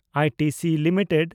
I T C limited